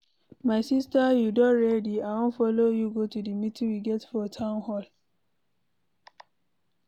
My sister you don ready? I wan follow you go the meeting we get for town hall.